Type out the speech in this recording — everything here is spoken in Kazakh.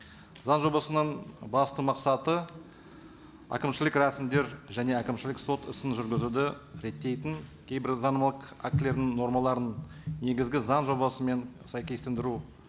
заң жобасының басты мақсаты әкімшілік рәсімдер және әкімшілік сот ісін жүргізуді реттейтін кейбір заңнамалық актілерінің нормаларын негізгі заң жобасымен сәйкестендіру